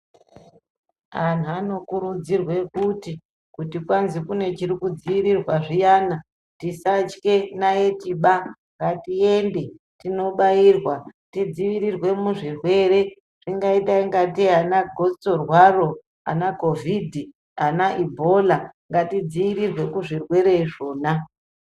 Anhu anokurudzirwe kuti, kuti kwanzi kune chiri kudziirirwa zviyana, tisatye naitiba. Ngatiende tinobairwa tidziirire muzvirwere zvingaita ingatei anagotsorwaro, anakhovhidhi, anaibhola. Ngatidzivirirwe kuzvirwere izvona.